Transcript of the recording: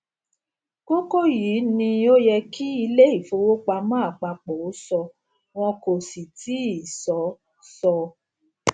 kókó yìí ni ó yẹ kí ilé ìfowópamọ àpapọ ó sọ wọn kò sì tíì sọ sọ